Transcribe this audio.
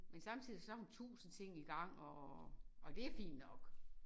Men samtidig så har hun tusind ting igang og og det fint nok